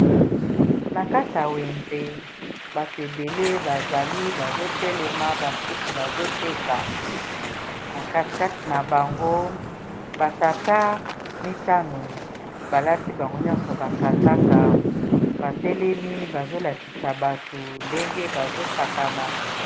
Na kati wenze bato ebele bazali bazotelema basusu bazoteka kati na bango batata mitano balati bango nyonso bakazaka batelemi bazolakisa bato ndenge bazosakana